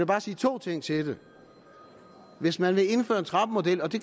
bare sige to ting til det hvis man vil indføre en trappemodel og det